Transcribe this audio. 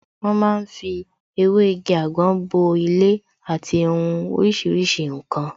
Wọ́n ma ń fi ewé igi àgbọn bo ilé àti hun oríṣiríṣi ǹkan